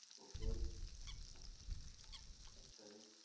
Okay ਅੱਛਾ ਜੀ।